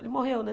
Ele morreu, né?